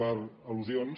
per al·lusions